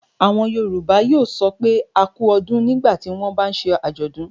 Àwọn Yorùbá yóò sọ pé "a kú ọdún. nígbà tí wọ́n bá ń ṣe àjọ̀dún.